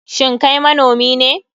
Shin Kai manomi ne?